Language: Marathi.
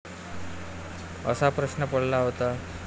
असा प्रश्न पडला होता.